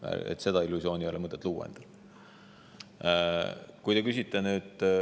Sellist illusiooni ei ole mõtet endale luua.